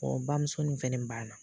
bamuso nin fɛnɛ ban na.